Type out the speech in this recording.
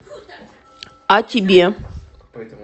а тебе